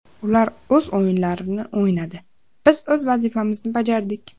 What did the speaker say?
Ular o‘z o‘yinlarini o‘ynadi, biz o‘z vazifamizni bajardik.